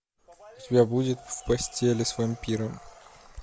у тебя будет в постели с вампиром